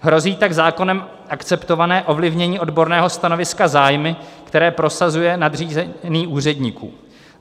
Hrozí tak zákonem akceptované ovlivnění odborného stanoviska zájmy, které prosazuje nadřízený úředníků.